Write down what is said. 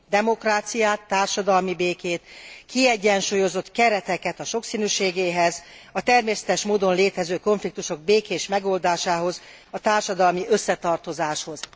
Demokráciát, társadalmi békét, kiegyensúlyozott kereteket a sokszínűségéhez, a természetes módon létező konfliktusok békés megoldásához, a társadalmi összetartozáshoz.